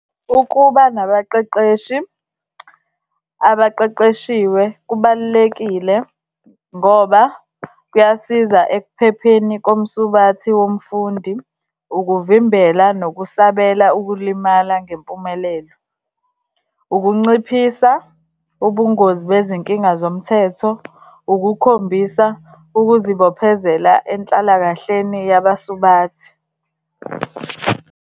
Ukuba nabaqeqeshi, abaqeqeshiwe kubalulekile ngoba kuyasiza ekuphepheni komsubathi womfundi, ukuvimbela nokusabela ukulimala ngempumelelo, ukunciphisa ubungozi bezinkinga zomthetho, ukukhombisa ukuzibophezela enhlalakahleni yabasubathi.